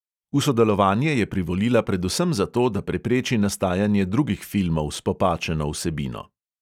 V sodelovanje je privolila predvsem zato, da prepreči nastajanje drugih filmov s popačeno vsebino.